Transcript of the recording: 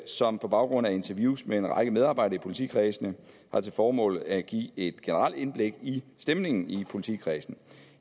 som på baggrund af interviews med en række medarbejdere i politikredsene har til formål at give et generelt indblik i stemningen i politikredsene